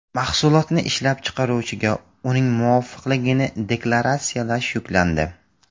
Mahsulotni ishlab chiqaruvchiga uning muvofiqligini deklaratsiyalash yuklandi.